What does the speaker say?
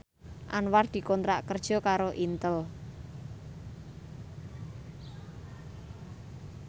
Anwar dikontrak kerja karo Intel